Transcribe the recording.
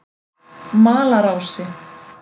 Malarási